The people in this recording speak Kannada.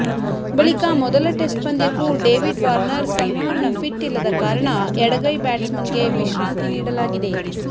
ಬಳಿಕ ಮೊದಲ ಟೆಸ್ಟ್ ಪಂದ್ಯಕ್ಕೂ ಡೇವಿಡ್ ವಾರ್ನರ್ ಸಂಪೂರ್ಣ ಫಿಟ್ ಇಲ್ಲದ ಕಾರಣ ಎಡಗೈ ಬ್ಯಾಟ್ಸ್ಮನ್ಗೆ ವಿಶ್ರಾಂತಿ ನೀಡಲಾಗಿದೆ